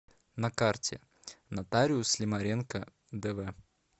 на карте нотариус лимаренко дв